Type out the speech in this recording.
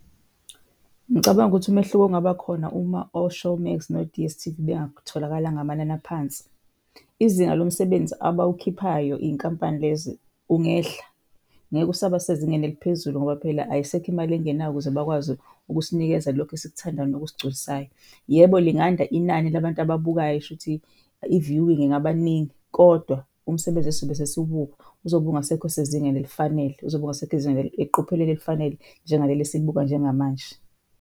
Ngicabanga ukuthi umehluko ongabakhona uma o-Showmax no-D_S_T_V bengatholakala ngamanani aphansi, izinga lomsebenzi abawukhiphayo iy'nkampani lezi ungehla. Ngeke usaba sezingeni eliphezulu ngoba phela ayisekho imali engenayo ukuze bakwazi ukusinikeza lokhu esikuthandayo nokusigculisayo. Yebo, linganda inani labantu ababukayo, shuthi i-viewing ingaba ningi kodwa umsebenzi esizobe sesiwubuka uzobe ungasekho sezingeni elifanele, uzobe ungasekho ezingeni, eqophelweni elifanele njengaleli esilibuka njengamanje.